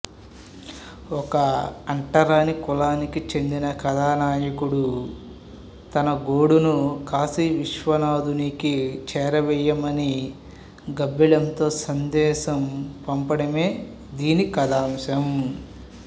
ఒక అంటరాని కులానికి చెందిన కథానాయకుడు తన గోడును కాశీ విశ్వనాథునికి చేరవేయమని గబ్బిలంతో సందేశం పంపడమే దీని కథాంశం